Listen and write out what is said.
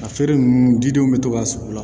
A feere ninnu didenw bɛ to ka sigi